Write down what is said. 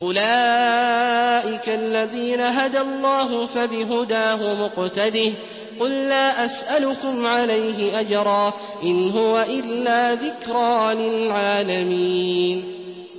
أُولَٰئِكَ الَّذِينَ هَدَى اللَّهُ ۖ فَبِهُدَاهُمُ اقْتَدِهْ ۗ قُل لَّا أَسْأَلُكُمْ عَلَيْهِ أَجْرًا ۖ إِنْ هُوَ إِلَّا ذِكْرَىٰ لِلْعَالَمِينَ